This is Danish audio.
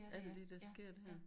Alt det der sker her